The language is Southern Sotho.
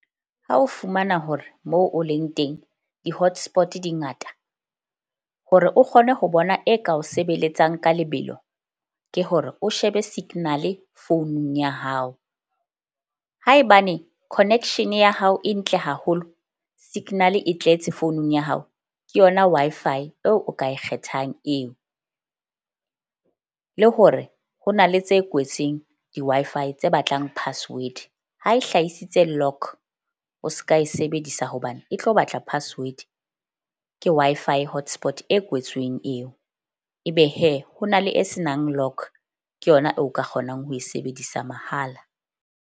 Ha o fumana hore moo o leng teng di-hotspot-e di ngata hore o kgone ho bona e ka o sebeletsang ka lebelo, ke hore o shebe signal-e founung ya hao. Haebane connection ya hao e ntle haholo, signal-e e tletse founung ya hao, ke yona Wi-Fi eo o ka e kgethang eo. Le hore ho na le tse kwetseng di-Wi-Fi tse batlang password. Ha e hlahisitse o ska e sebedisa hobane e tlo batla password. Ke Wi-Fi hotspot e kwetsweng eo ebe ho na le e senang , ke yona eo o ka kgonang ho e sebedisa mahala.